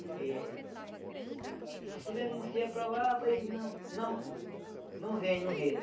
Porque... Se denuncia para lá, rapaz, e não... Não não vem, não vem, né?